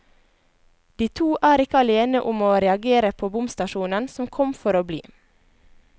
De to er ikke alene om å reagere på bomstasjonen som kom for å bli.